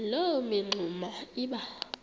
loo mingxuma iba